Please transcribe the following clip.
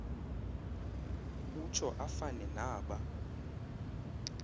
utsho afane naba